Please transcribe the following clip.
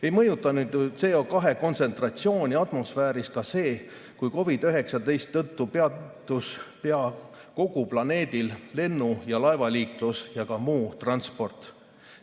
Ei mõjutanud CO2 kontsentratsiooni atmosfääris ka see, kui COVID‑19 tõttu peatus pea kogu planeedil lennu‑ ja laevaliiklus ja ka muu transport.